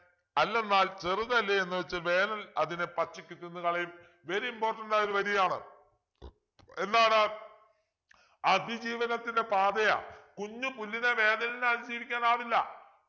അല്ലെന്നാൽ ചെറുതല്ലേ എന്നുവച്ച് വേനൽ അതിനെ പച്ചയ്ക്ക് തിന്നുകളയും very important ആയൊരു വരിയാണ് എന്താണ് അതിജീവനത്തിൻ്റെ പാതയാ കുഞ്ഞു പുല്ലിന് വേനലിനെ അതിജീവിക്കാനാവില്ല